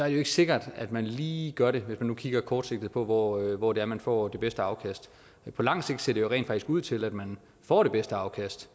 ikke er sikkert at man lige gør det hvis man kigger kortsigtet på hvor hvor det er man får det bedste afkast men på lang sigt ser det rent faktisk ud til at man får det bedste afkast